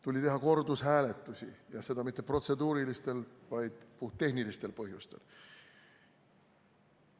Tuli teha kordushääletusi ja seda mitte protseduurilistel, vaid puhttehnilistel põhjustel.